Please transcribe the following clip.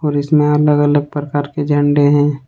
और इसमें अलग अलग प्रकार के झंडे हैं।